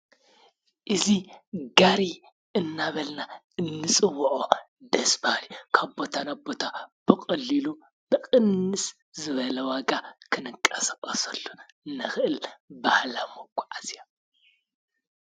እዚ ጋሪ እናበልና እንፅወዖ ደስ ባሃሊ ካብ ቦታ ናብ ቦታ ብቀሊሉ ብቅንስ ዝበለ ዋጋ ክንቀሳቀሰሉ እንክእል ባህላዊ መጓዓዝያ እዩ።